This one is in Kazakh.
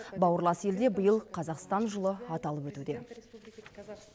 бауырлас елде биыл қазақстан жылы аталып өтуде